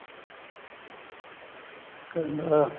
ਕਹਿੰਦਾ